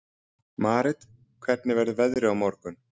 Marit, hvernig verður veðrið á morgun?